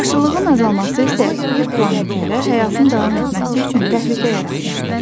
Yaşıllığın azalması isə yer planetində həyatın davam etməsi üçün təhlükə yaratmışdı.